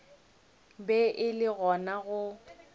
be e le gona go